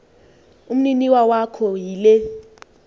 umninawa wakho yile